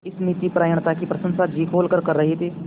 इस नीतिपरायणता की प्रशंसा जी खोलकर कर रहे थे